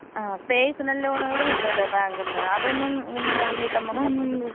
ആ പേഴ്സണൽ ലോണുകൾ കിട്ടുവല്ലോ ബാങ്കിന്ന് അതൊന്ന് നിങ്ങള് വീട്ടമ്മമ്മാര്.